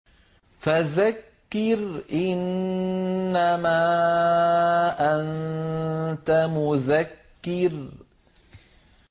فَذَكِّرْ إِنَّمَا أَنتَ مُذَكِّرٌ